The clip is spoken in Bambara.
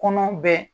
Kɔnɔ bɛ